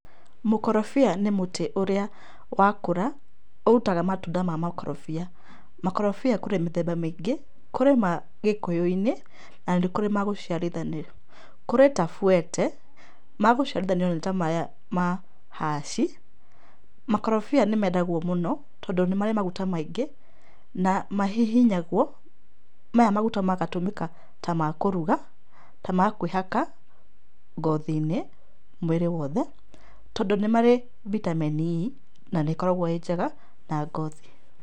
Mũkorobia nĩ mũtĩ ũrĩa wakũra, ũrutaga matunda ma makorobia. Makorobia kũrĩ mĩthemba mĩingĩ, kũrĩ ma gĩkũyũ-inĩ, na nĩ kũrĩ ma gũciarithanio. Kũrĩ ta buete, ma gũciarithanio nĩ ta maya ma hass ,makorobia nĩ mendagwo mũno tondũ nĩ marĩ maguta maingĩ, na mahihinyagwo, maya maguta magatũmĩka ta ma kũruga, ta ma kũĩhaka ngothi-inĩ, mwĩrĩ wothe, tondũ nĩ marĩ vitamin E na nĩ ĩkoragũo ĩ njega na ngothi.